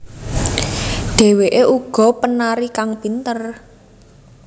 Dheweké uga penari kang pinter